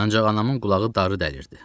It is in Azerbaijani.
Ancaq anamın qulağı darı dəlirdi.